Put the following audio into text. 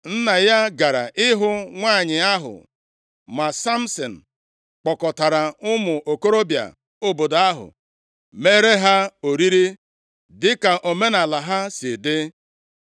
Nna ya gara ịhụ nwanyị ahụ ma Samsin kpọkọtara ụmụ okorobịa obodo ahụ meere ha oriri dịka omenaala ha sị di.